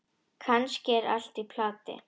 Kannski er allt í plati.